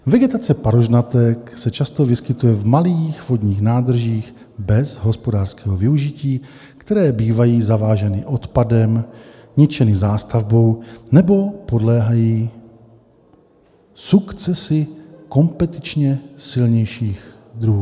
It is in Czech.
Vegetace parožnatek se často vyskytuje v malých vodních nádržích bez hospodářského využití, které bývají zaváženy odpadem, ničeny zástavbou nebo podléhají sukcesi kompetičně silnějších druhů.